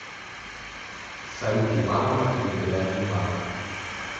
салют иваново территориальный банк